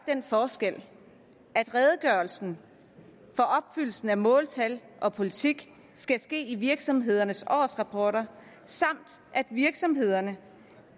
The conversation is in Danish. den forskel at redegørelsen for opfyldelsen af måltal og politik skal ske i virksomhedernes årsrapporter samt at virksomhederne